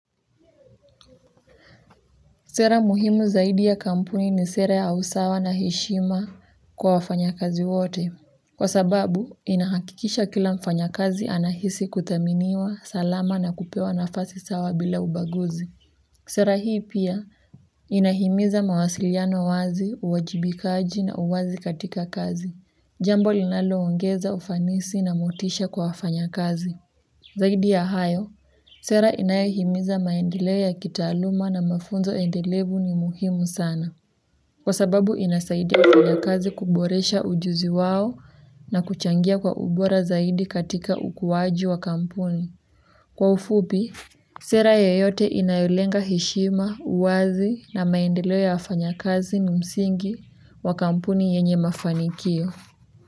Sera muhimu zaidi ya kampuni ni sera ya usawa na heshima kwa wafanyakazi wote kwa sababu, inahakikisha kila mfanya kazi anahisi kuthaminiwa salama na kupewa nafasi sawa bila ubaguzi. Sera hii pia, inahimiza mawasiliano wazi, uwajibikaji na uwazi katika kazi. Jambo linaloongeza ufanisi na motisha kwa wafanyakazi. Zaidi ya hayo, sera inayohimiza maendeleo ya kitaaluma na mafunzo endelevu ni muhimu sana. Kwa sababu inasaidia wafanyakazi kuboresha ujuzi wao na kuchangia kwa ubora zaidi katika ukuwaji wa kampuni kwa ufupi, sera yoyote inayolenga heshima, uwazi na maendeleo ya wafanyakazi ni msingi wa kampuni yenye mafanikio.